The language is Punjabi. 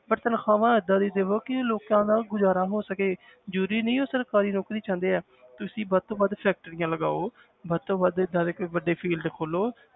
ਪਰ ਤਨਖ਼ਾਹਾਂ ਏਦਾਂ ਦੀ ਦੇਵੋ ਕਿ ਲੋਕਾਂ ਦਾ ਗੁਜ਼ਾਰਾ ਹੋ ਸਕੇ ਜ਼ਰੂਰੀ ਨਹੀਂ ਉਹ ਸਰਕਾਰੀ ਨੌਕਰੀ ਚਾਹੁੰਦੇ ਹੈ ਤੁਸੀਂ ਵੱਧ ਤੋਂ ਵੱਧ factories ਲਗਾਓ ਵੱਧ ਤੋਂ ਵੱਧ ਏਦਾਂ ਦੇ ਕੋਈ field ਖੋਲੋ,